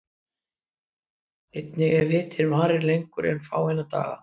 Einnig ef hitinn varir lengur en fáeina daga.